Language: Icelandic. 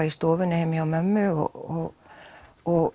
í stofunni heima hjá mömmu og og